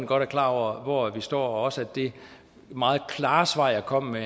godt er klar over hvor vi står også det meget klare svar jeg kom med